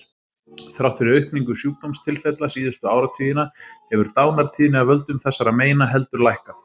Þrátt fyrir aukningu sjúkdómstilfella síðustu áratugina hefur dánartíðni af völdum þessara meina heldur lækkað.